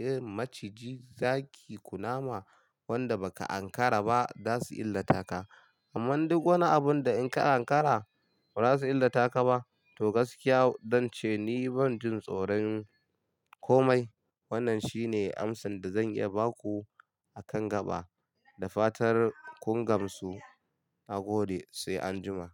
Irin maciji, zaki, kunama wanda baka ankara ba zasuyi illata ka. Amma duk wani abun da in ka ankara bazasu illata ka ba. To gaskiya zan ce ni ban jin tsoron komai. Wannan shine amsan da zan iya baku akan gaba. Da fatar kun gamsu. Na gode sai anjima.